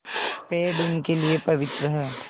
पेड़ उनके लिए पवित्र हैं